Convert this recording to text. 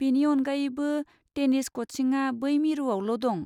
बेनि अनगायैबो, टेनिस कचिंआ बै मिरुआवल' दं।